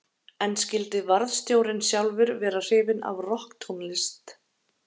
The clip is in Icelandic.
En skyldi varðstjórinn sjálfur vera hrifinn af rokktónlist?